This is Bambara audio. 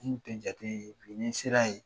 U tun tɛ n jate bi ni n sera yen